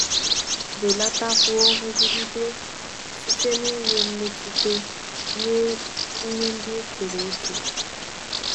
Belatakwuo nrụgide site n’inwe mmetụta nye ihe ndị e kere eke.